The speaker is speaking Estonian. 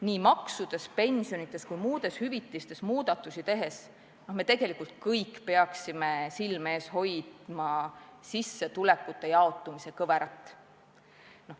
Nii maksudes, pensionides kui muudes süsteemides muudatusi tehes me tegelikult peaksime silme ees hoidma sissetulekute jaotumise kõverat.